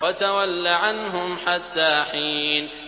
وَتَوَلَّ عَنْهُمْ حَتَّىٰ حِينٍ